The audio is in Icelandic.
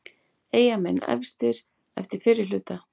Eyjamenn efstir eftir fyrri hluta